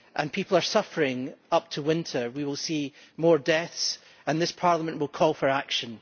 People are suffering as winter comes. We will see more deaths and this Parliament will call for action.